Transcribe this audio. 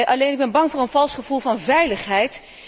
Alleen, ik ben bang voor een vals gevoel van veiligheid.